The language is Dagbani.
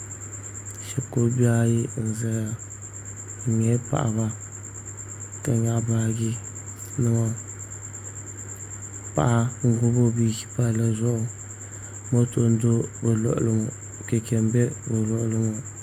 Shikuru bihi ayi n ʒɛya bi nyɛla paɣaba ka nyaɣa baaji niɛma paɣa n gbubi o bia ʒi palli zuɣu moto n do o luɣuli ŋo chɛchɛ n do o luɣuli ŋo